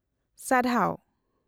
- ᱥᱟᱨᱦᱟᱣ ᱾